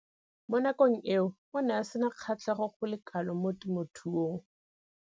Mo nakong eo o ne a sena kgatlhego go le kalo mo temothuong.